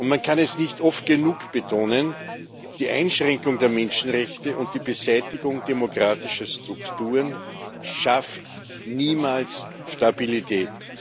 Man kann es nicht oft genug betonen Die Einschränkung der Menschenrechte und die Beseitigung demokratischer Strukturen schaffen niemals Stabilität.